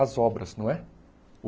As obras, não é?